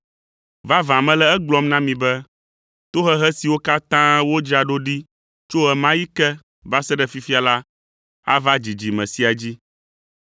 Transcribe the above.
Vavã, mele egblɔm na mi be, tohehe siwo katã wodzra ɖo ɖi tso ɣe ma ɣi ke va se ɖe fifia la ava dzidzime sia dzi.